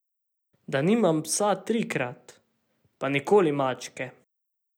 Da nimam psa trikrat, pa nikoli mačke.